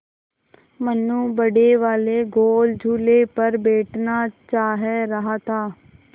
मनु बड़े वाले गोल झूले पर बैठना चाह रहा था